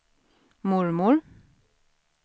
mormor